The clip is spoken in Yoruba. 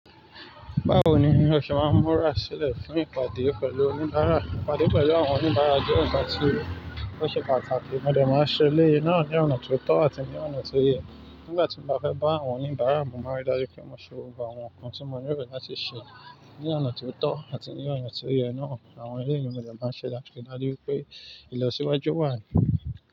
Báwo ni o ṣe máa ń múra sílẹ̀ fún ìpàdé pẹ̀lú oníbàárà? Ìpàdé pẹ̀lú àwọn oníbàárà jẹ́ ǹkan tí ó ṣe pàtàkì, mo dè máa ṣẹlẹ náà ní ọ̀nà tó tọ́ àti ní ọ̀nà tó yẹ. Nígbà tí mo bá fẹ́ bá àwọn oníbàárà mo má ri dájú pé mo ṣe gbogbo àwọn nǹkan tí mo nílò láti ṣe ní ọ̀nà tó tọ́ àti ní ọ̀nà tó yẹ náà, àwọn eléyìí ni mo dè máa ṣe láti ri dájú pé ìlọsíwájú wà.